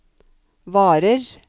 varer